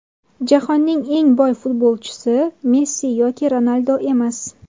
Jahonning eng boy futbolchisi Messi yoki Ronaldu emas.